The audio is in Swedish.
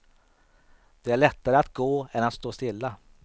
Det är lättare att gå än stå stilla.